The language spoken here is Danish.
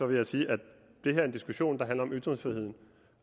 vil jeg sige at det her er en diskussion der handler om ytringsfrihed